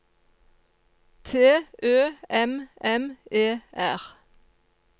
T Ø M M E R